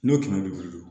N'o kɛmɛ bi wolo